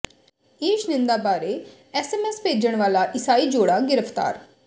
ਈਸ਼ ਨਿੰਦਾ ਬਾਰੇ ਐਸਐਮਐਸ ਭੇਜਣ ਵਾਲਾ ਈਸਾਈ ਜੋੜਾ ਗਿ੍ਰਫ਼ਤਾਰ